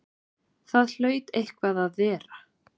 Það hlaut eitthvað að vera!